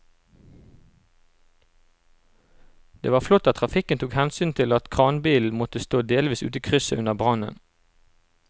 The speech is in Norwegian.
Det var flott at trafikken tok hensyn til at kranbilen måtte stå delvis ute i krysset under brannen.